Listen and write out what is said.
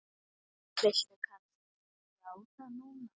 Viltu kannski játa núna?